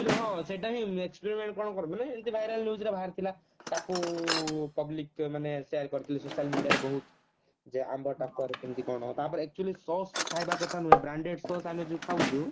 ହଁ ସେଇଟା ହିଁ କଣ କରନ୍ତି ନା ଏମତି viral news ରେ ବାହାରି ଥିଲା ତାକୁ public ଯୋଉମାନେ share କରିଥିଲେ social media ରେ ବହୁତ୍ ଯେ ଆମ୍ବ ଟାକୁଆରେ କେମତି କଣ ତା ପରେ actually Sause ଖାଇବା କଥା ନୁହଁ branded Sause ଆମେ ଯୋଉ ଖାଉଛୁ